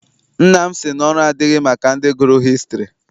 Nna m sị na ọrụ adịghị maka ndị gụrụ hịstrị.